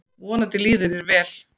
Vonandi líður þér vel.